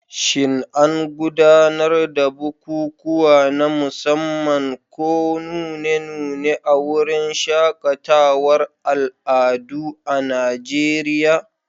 Shin an gudanar da bukukuwa na musamman ko nune-nune a wurin shaƙatawar al'adu a Najeriya?